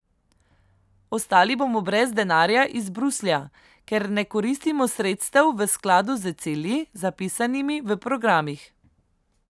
Ostali bomo brez denarja iz Bruslja, ker ne koristimo sredstev v skladu z cilji, zapisanimi v programih.